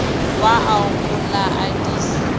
wa au go la addis